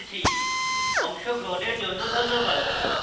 অংশগ্রহণের জন্য ধন্যবাদ